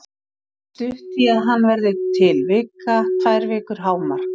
Það er stutt í að hann verði til, vika, tvær vikur hámark.